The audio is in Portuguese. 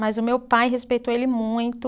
Mas o meu pai respeitou ele muito.